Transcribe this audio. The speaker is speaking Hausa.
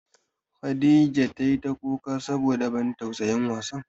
Khadijah tai ta kuka saboda ban tausayin wasan.